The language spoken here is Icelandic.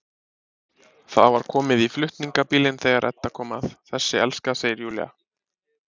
Það var komið í flutningabílinn þegar Edda kom að, þessi elska, segir Júlía.